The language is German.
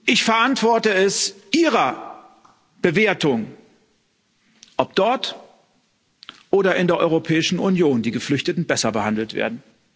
Ich verantworte es Ihrer Bewertung, ob dort oder in der Europäischen Union die Geflüchteten besser behandelt werden.